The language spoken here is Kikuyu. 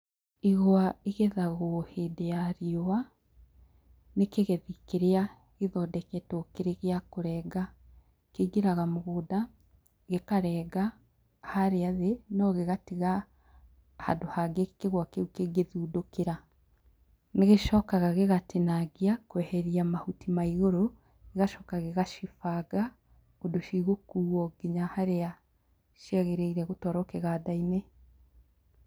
Igwa igethagwo hĩndĩ ya riũa, nĩ kĩgethi kĩrĩa gĩthondeketwo kĩrĩ gĩa kũrenga. Kĩingĩraga mũgũnda, gĩkarenga, harĩa thĩ, no gĩgatiga handũ hangĩ kĩgwa kĩu kĩngĩthundũkĩra. Nĩ gĩcoka gĩgatinangia kweheria mahuti ma igũrũ, gigacoka gĩgacibanga ũndũ cigũkuo nginya harĩa ciagĩrĩire gũtwarwo, kĩganda-inĩ.